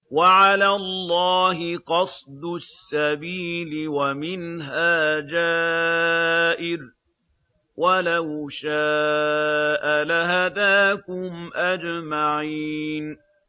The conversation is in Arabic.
وَعَلَى اللَّهِ قَصْدُ السَّبِيلِ وَمِنْهَا جَائِرٌ ۚ وَلَوْ شَاءَ لَهَدَاكُمْ أَجْمَعِينَ